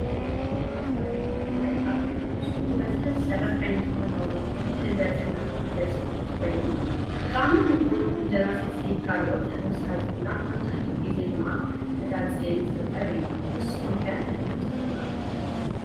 አብ ትግራይ ብፍላይ አብ ከተማ አክሱም ብበዝሕ ዝስረሕ ዓይነት ባህላዊ ምግብ ሕልበት እናተባህለ ዝፍለጥ ኮይን ብጣዕሚ ሙቅር ብእንጀራ ስልሲ ካልኦት ሓዊስካ ዝብላዕ መብዛሕቲኡ ግዜ ድማ ሕዳርፅየ ዝግብር እዩ። ንስክም ከ ሕልበት ትፈትዉ ዶ?